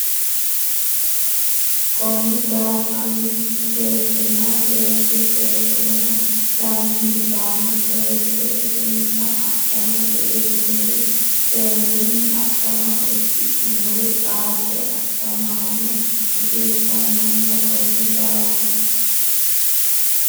Konni daafi ra mittu beettinna beetto Jeefoteno lamenti gaamo seesse dirinsa adhamate iillinnori seerunni adhama uddidhinori xaadde adhamaano hasiissannonsa Konni daafi ra.